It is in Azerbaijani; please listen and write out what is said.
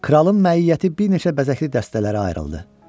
Kralın məiyyəti bir neçə bəzəkli dəstələrə ayrıldı.